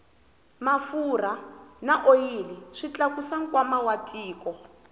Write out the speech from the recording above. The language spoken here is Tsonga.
mafurha na oyili swi tlakusa nkwama wa tiko